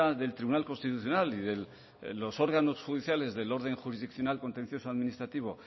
del tribunal constitucional y de los órganos judiciales del orden jurisdiccional contencioso administrativo